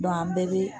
an bɛɛ bɛ